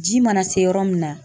Ji mana se yɔrɔ min na